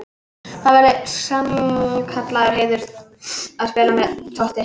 Það væri mér sannkallaður heiður að spila með Totti.